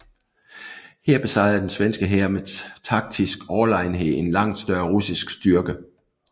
Her besejrede den svenske hær med taktisk overlegenhed en langt større russisk styrke